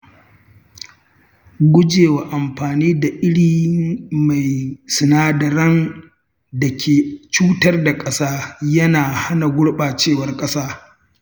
Gujewa amfani da iri mai sinadaran da ke cutar da ƙasa yana hana gurɓacewar ƙasa.